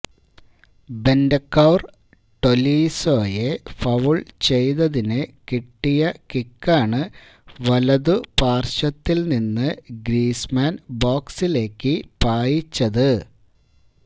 Bentancur ടൊലീസോയെ foul ചെയ്തതിന് കിട്ടിയ കിക്കാണ് വലതു പാർശ്വത്തിൽ നിന്ന് ഗ്രീസ്മാൻ ബോക്സിലേയ്ക്ക് പായിച്ചത്